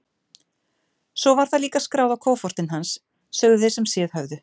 Svo var það líka skráð á kofortin hans, sögðu þeir sem séð höfðu.